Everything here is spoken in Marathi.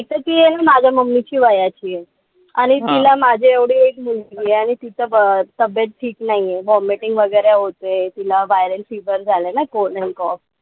एक त ती आहे माझ्या mummy च्या वयाची आहे. आणि तिला माझं एवढी एक मुलगी आहे. आणि तीच तब्येत ठीक नाहीये. Vommitting वगैरे होतय. तिला viral fever झालंय ना cold and cough.